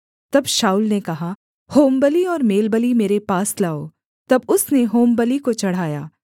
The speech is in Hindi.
तब शाऊल ने कहा होमबलि और मेलबलि मेरे पास लाओ तब उसने होमबलि को चढ़ाया